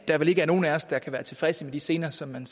er vel ikke nogen af os der kan være tilfredse med de scener som man